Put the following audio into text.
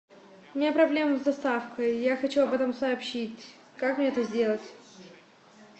у меня проблема с доставкой я хочу об этом сообщить как мне это сделать